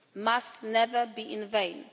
must never be in vain.